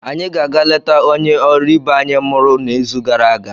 anyị ga-aga letaa onye ọrụ ibe anyị mụrụ n'izu gara aga.